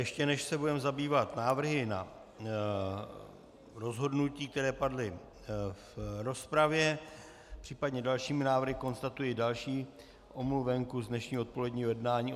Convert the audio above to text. Ještě než se budeme zabývat návrhy na rozhodnutí, které padly v rozpravě, případně dalšími návrhy, konstatuji další omluvenku z dnešního odpoledního jednání.